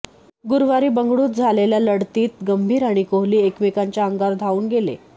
गुरुवारी बंगळूरुत झालेल्या लढतीत गंभीर आणि कोहली एकमेकांच्या अंगावर धावून गेले